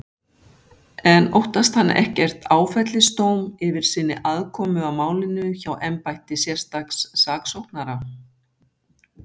En óttast hann ekkert áfellisdóm yfir sinni aðkomu að málinu hjá embætti sérstaks saksóknara?